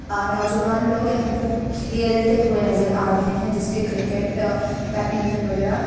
नोजवाँन लोग यहा पर खेलते हुए नज़र आ रहे है जेसे की क्रिकेट बेडमिनटन वगेरा।